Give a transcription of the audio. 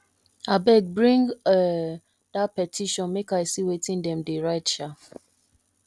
abeg bring um dat petition make i see wetin de dey write um